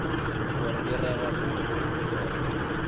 go direga mo go lona